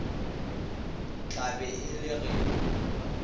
tla be e le ge